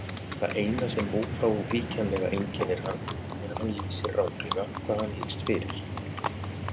Það eina sem ófrávíkjanlega einkennir hann er að hann lýsir ranglega hvað hann hyggst fyrir.